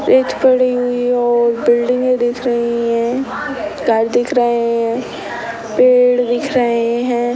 रेत पड़ी हुई है और बिल्डिंगें दिख रही हैं गर दिख रहे हैं पेड़ दिख रहे हैं।